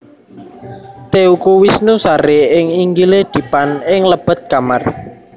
Teuku Wisnu sare ing inggile dipan ing lebet kamar